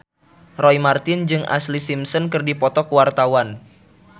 Roy Marten jeung Ashlee Simpson keur dipoto ku wartawan